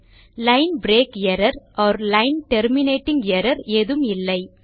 line break error or line terminating error ஏதும் இல்லை